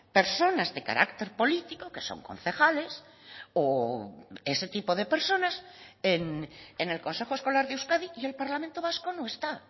personas de carácter político que son concejales o ese tipo de personas en el consejo escolar de euskadi y el parlamento vasco no está